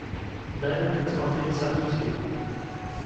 дай мне посмотреть событие